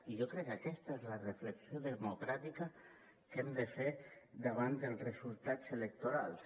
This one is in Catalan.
i jo crec que aquesta és la reflexió democràtica que hem de fer davant dels resultats electorals